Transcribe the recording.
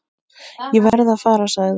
Ég verð að fara, sagði